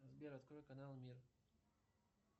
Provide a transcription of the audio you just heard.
сбер открой канал мир